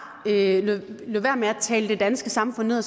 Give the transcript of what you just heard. lod være med at tale det danske samfund ned